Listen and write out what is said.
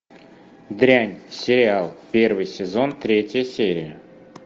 дрянь сериал первый сезон третья серия